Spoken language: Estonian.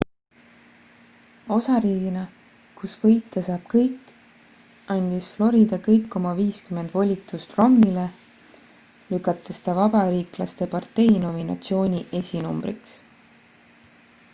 osariigina kus võitja saab kõik andis florida kõik oma viiskümmend volitust romneyle lükates ta vabariiklaste partei nominatsiooni esinumbriks